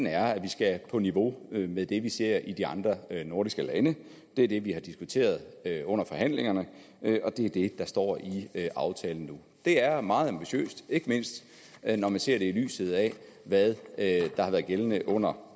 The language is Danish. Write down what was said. er at vi skal på niveau med det vi ser i de andre nordiske lande det er det vi har diskuteret under forhandlingerne og det er det der står i aftalen det er meget ambitiøst ikke mindst når man ser det i lyset af hvad der har været gældende under